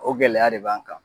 O gɛlɛya de b'an kan